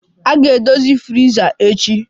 A ga-edozi friza echi